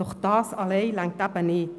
Doch das allein reicht nicht.